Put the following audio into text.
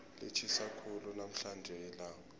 litjhisa khulu namhlanje ilanga